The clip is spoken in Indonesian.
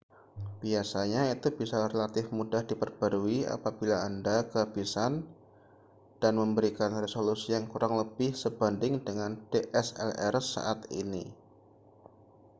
biasanya itu bisa relatif mudah diperbarui apabila anda kehabisan dan memberikan resolusi yang kurang lebih sebanding dengan dslr saat ini